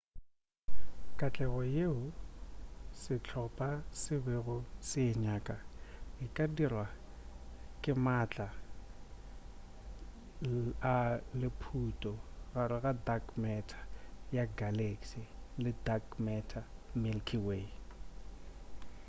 katlego yeo sehlopa se bego se e nyaka e ka dirwa ke maatla a lephuto gare ga dark matter ya galaxy le dark matter milky way